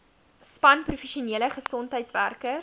span professionele gesondheidswerkers